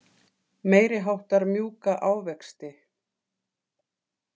Meiriháttar mjúka ávexti.